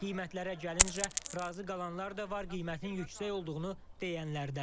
Qiymətlərə gəlincə, razı qalanlar da var, qiymətin yüksək olduğunu deyənlər də.